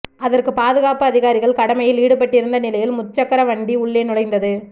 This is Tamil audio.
அதற்கு பாதுகாப்பு அதிகாரிகள் கடமையில் ஈடுபட்டிருந்த நிலையில் முச்சக்கர வண்டி உள்ளே நுழைந்துள்ளது